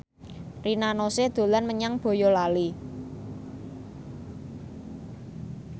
Rina Nose dolan menyang Boyolali